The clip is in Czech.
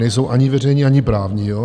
Nejsou ani veřejní, ani právní.